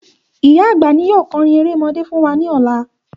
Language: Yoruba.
Ìyá àgbà ni yóò kọrin erémọdé fún wa ní ọlá